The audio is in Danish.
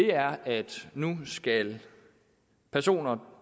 er at nu skal personer